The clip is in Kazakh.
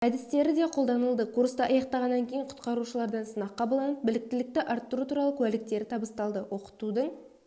әдістері де қолданылды курсты аяқтағаннан кейін құтқарушылардан сынақ қабылданып біліктілікті арттыру туралы куәліктері табысталды оқытудың